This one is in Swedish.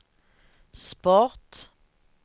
sport